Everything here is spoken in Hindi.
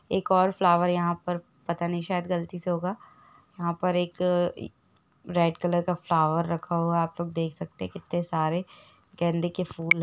एक और फ्लावर यहाँ पर पता नहीं शायद गलती से होगा यहाँ पर एक रेड कलर का फ्लावर रखा होगा आप लोग देख सकते है कितने सारे गेंदे के फूल है।